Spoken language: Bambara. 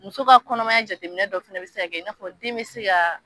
Muso ka kɔnɔmaya jateminɛ dɔ fɛnɛ be se ka kɛ n'a fɔ den be se ka